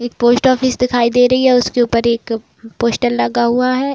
एक post office दिखाई दे रही है। उसके ऊपर एक पोस्टर लगा हुआ है।